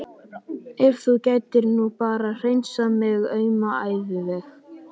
Ef þú gætir nú bara hreinsað minn auma æviveg.